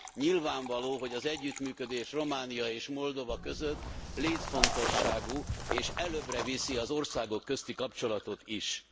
Nyilvánvaló, hogy az együttműködés Románia és Moldova között létfontosságú és előbbre viszi az országok közötti kapcsolatot is.